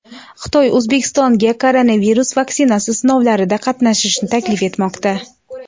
Xitoy O‘zbekistonga koronavirus vaksinasi sinovlarida qatnashishni taklif etmoqda.